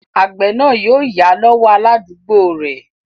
Àgbẹ̀ náà yóò yá lọ́wọ́ aládúgbò rẹ̀